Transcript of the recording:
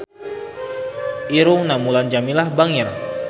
Irungna Mulan Jameela bangir